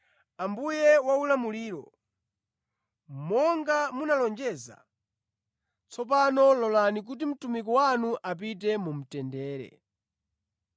“Ambuye waulamuliro, monga munalonjeza, tsopano lolani kuti mtumiki wanu apite mu mtendere.